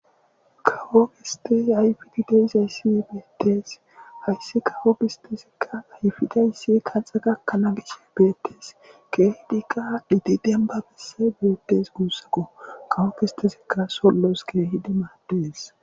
kawo kistiz ayfididaisayssii beettees hayssi kawo gistizikka ayfidayssi kaxa gakkanaa gicshi beettees keehidikka diti denba besse beetes guussaqo kawo kistezikka sollos keehidi maaddees